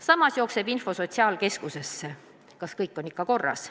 Samas jookseb info sotsiaalkeskusesse, kas kõik on ikka korras.